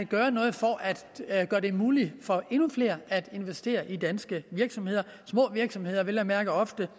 gøre noget for at gøre det muligt for endnu flere at investere i danske virksomheder virksomheder vel at mærke ofte